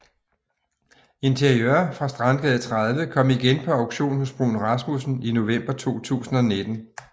Interiør fra Strandgade 30 kom igen på auktion hos Bruun Rasmussen i november 2019